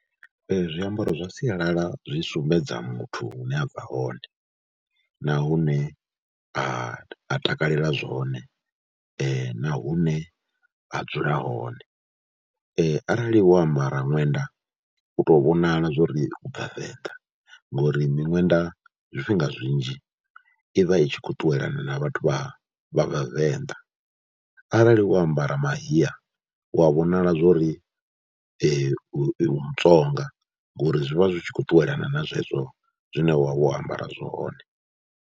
Zwiambaro zwa sialala zwi sumbedza muthu hune a bva hone na hune a a takalela zwone na hune a dzula hone, arali wo ambara ṅwenda u tou vhonala zwo ri u bva Venḓa ngori miṅwenda zwifhinga zwinzhi i vha i tshi khou ṱuwelana na vhathu vha vha Vhavenḓa, arali wo ambara mahiya u a vhonala zwo ri u iwe Mutsonga ngori zwi vha zwi tshi khou ṱuwelana na zwezwo zwine wa vha wo ambara zwone.